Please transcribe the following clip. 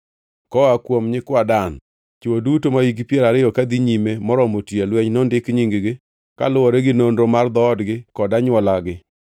Koa kuom nyikwa Dan: Chwo duto mahikgi piero ariyo kadhi nyime moromo tiyo e lweny nondik nying-gi, kaluwore gi nonro mar dhoodgi kod anywolagi.